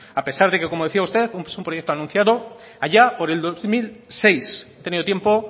a pesar de que como decía usted es un proyecto anunciado allá por el dos mil seis ha tenido tiempo